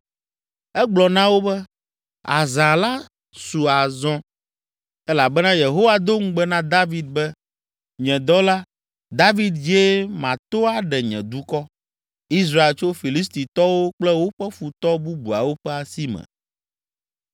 Egblɔ na wo be, “Azã la su azɔ elabena Yehowa do ŋugbe na David be, ‘Nye dɔla, David dzie mato aɖe nye dukɔ, Israel tso Filistitɔwo kple woƒe futɔ bubuawo ƒe asi me!’ ”